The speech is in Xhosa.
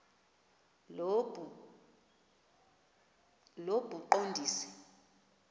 lobuqondisi